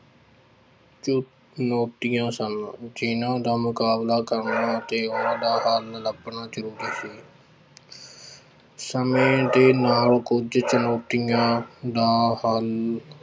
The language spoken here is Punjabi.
ਚੁਣੋਤੀਆਂ ਸਨ ਜਿਹਨਾਂ ਦਾ ਮੁਕਾਬਲਾ ਕਰਨਾ ਅਤੇ ਉਹਨਾਂ ਦਾ ਹੱਲ ਲੱਭਣਾ ਜ਼ਰੂਰੀ ਸੀ ਸਮੇਂ ਦੇ ਨਾਲ ਕੁੱਝ ਚੁਣੋਤੀਆਂ ਦਾ ਹੱਲ